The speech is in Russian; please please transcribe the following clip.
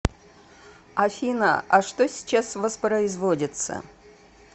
афина а что сейчас воспроизводится